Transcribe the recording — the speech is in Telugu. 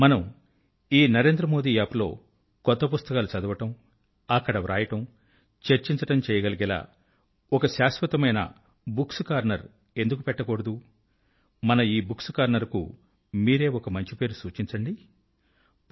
మనం ఈ నరేంద్రమోది App లో కొత్త పుస్తకాలు చదవడం అక్కడ వ్రాయడం చర్చించడం చేయగలిగేలా ఒక శాశ్వతమైన బుక్స్ కార్నర్ ఎందుకు పెట్టకూడదు మన ఈ బుక్స్ కార్నర్ కు మీరే ఒక మంచి పేరు సూచించగలరు